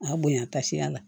A bonya tasiya la